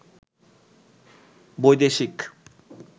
বৈদেশিক